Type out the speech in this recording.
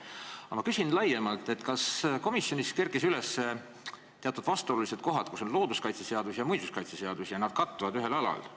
Aga ma küsin laiemalt: kas komisjonis kerkisid üles teatud vastuolulised kohad, kus looduskaitseseadus ja muinsuskaitseseadus ühel alal kattuvad?